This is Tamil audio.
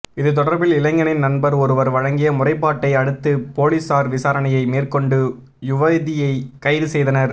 இது தொடர்பில் இளைஞனின் நண்பர் ஒருவர் வழங்கிய முறைப்பாட்டை அடுத்து பொலிஸார் விசாரணையை மேற்கொண்டு யுவதியை கைதுசெய்தனர்